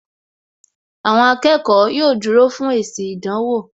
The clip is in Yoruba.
Àwọn akẹ́kọ̀ọ́ yóò dúró fún èsì ìdánwò